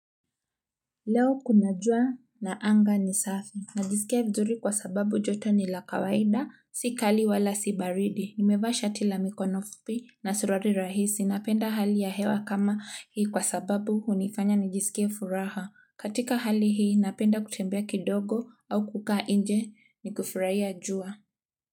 Leo kuna jua na anga ni safi. Najisikia vizuri kwa sababu joto ni la kawaida. Si kali wala si baridi. Nimevaa shati la mikono fupi na suruali rahisi. Napenda hali ya hewa kama hii kwa sababu hunifanya nijisikie furaha. Katika hali hii, napenda kutembea kidogo au kukaa nje nikifurahia jua.